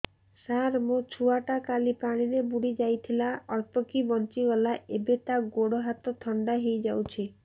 ସାର ମୋ ଛୁଆ ଟା କାଲି ପାଣି ରେ ବୁଡି ଯାଇଥିଲା ଅଳ୍ପ କି ବଞ୍ଚି ଗଲା ଏବେ ତା ଗୋଡ଼ ହାତ ଥଣ୍ଡା ହେଇଯାଉଛି